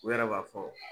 U yɛrɛ b'a fɔ